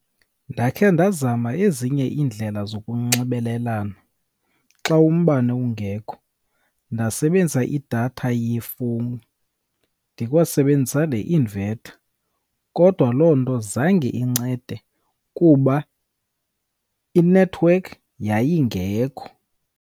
Ndakhe ndazama ezinye iindlela zokunxibelelana xa umbane ungekho, ndasebenzisa idatha yefowuni ndikwasebenzisa ne-inverter. Kodwa loo nto zange incede kuba i-network yayingekho.